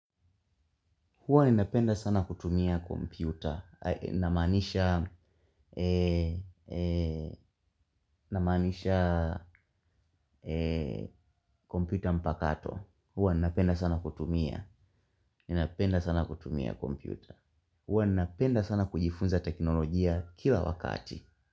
Huwa ninapenda sana kutumia kompyuta. i.e ninamaanisha. Na maanisha kompyuta mpakato. Huwa ninapenda sana kutumia ninapenda sana kutumia kompyuta. Huwa ninapenda sana kujifunza teknolojia kila wakati.